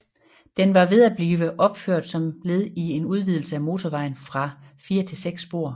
Den var ved at bliver opført som led i en udvidelse af motorvejen fra fire til seks spor